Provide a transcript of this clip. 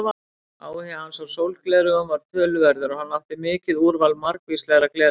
Áhugi hans á sólgleraugum var töluverður og hann átti mikið úrval margvíslegra gleraugna.